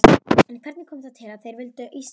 En hvernig kom það til að þeir völdu Ísland?